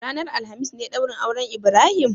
Ranar alhamis ne daurin auren Ibrahim?